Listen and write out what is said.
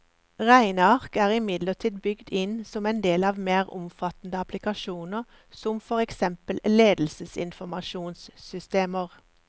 Regneark er imidlertid bygd inn som en del av mer omfattende applikasjoner, som for eksempel ledelsesinformasjonssystemer.